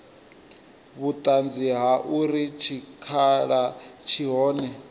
vhuṱanzi ha uri tshikhala tshi hone